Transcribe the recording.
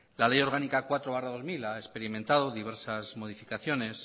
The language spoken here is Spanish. la ley orgánica cuatro barra dos mil ha experimentado diversas modificaciones